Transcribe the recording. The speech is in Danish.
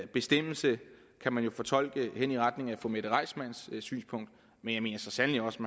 bestemmelse kan man jo fortolke hen i retning af fru mette reissmanns synspunkt men jeg mener så sandelig også